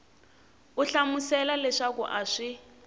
u hlamusela leswaku a swi